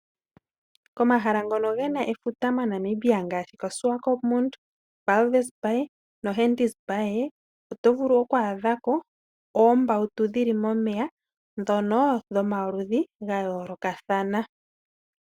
Komahala ngono gena efuta moNamibia ngaashi koSwakopmud, Walvis Bay, noHentis Bay oto vulu oku adha ko oombawutu dhi li momeya dhono dhomaludhi ga yoolokathana.